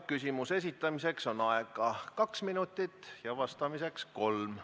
Küsimuse esitamiseks on aega kaks minutit ja vastamiseks kolm.